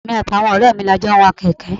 Èmi àti àwọn ọrẹ mi ni a jọ ń wa kèké.